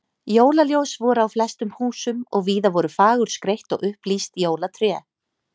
Jólaljós voru á flestum húsum og víða voru fagurskreytt og upplýst jólatré.